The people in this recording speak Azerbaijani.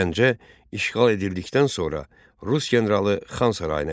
Gəncə işğal edildikdən sonra rus generalı Xan sarayına gəlir.